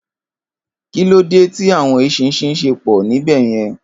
Kilódé ti áwòn éṣìnṣìn ṣé pò níbèyèn?